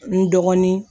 N dɔgɔnin